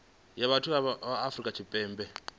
dza vhathu ya afrika tshipembe